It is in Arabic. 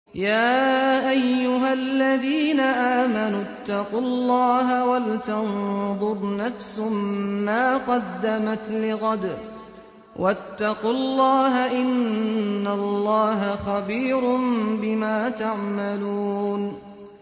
يَا أَيُّهَا الَّذِينَ آمَنُوا اتَّقُوا اللَّهَ وَلْتَنظُرْ نَفْسٌ مَّا قَدَّمَتْ لِغَدٍ ۖ وَاتَّقُوا اللَّهَ ۚ إِنَّ اللَّهَ خَبِيرٌ بِمَا تَعْمَلُونَ